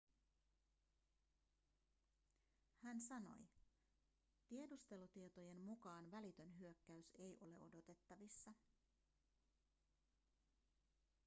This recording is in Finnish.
hän sanoi tiedustelutietojen mukaan välitön hyökkäys ei ole odotettavissa